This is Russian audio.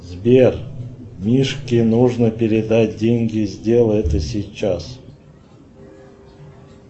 сбер мишке нужно передать деньги сделай это сейчас